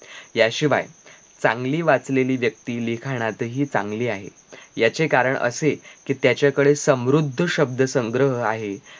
याशिवाय चांगली वाचलेली व्यक्ती लिखाणातही चांगली आहे याचे कारण असे कि त्याच्याकडे समृद्ध शब्द संग्रह आहे